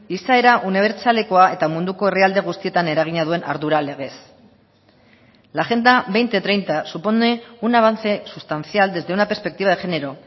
izaera unibertsalekoa eta munduko herrialde guztietan eragina duen ardura legez la agenda dos mil treinta supone un avance sustancial desde una perspectiva de género